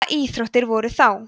hvaða íþróttir voru þá